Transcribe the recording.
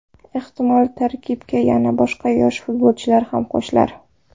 Ehtimol, tarkibga yana boshqa yosh futbolchilar ham qo‘shilar.